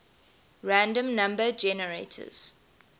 random number generators